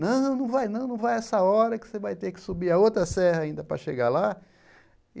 Não, não vai não não vai essa hora que você vai ter que subir a outra serra ainda para chegar lá.